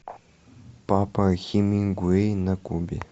папа хемингуэй на кубе